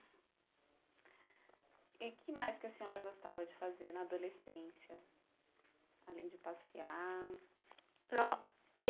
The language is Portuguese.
E o que mais que a senhora gostava de fazer na adolescência, além de passear?